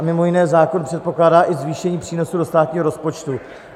A mimo jiné zákon předpokládá i zvýšení přínosu do státního rozpočtu.